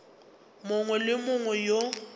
mongwe le yo mongwe yo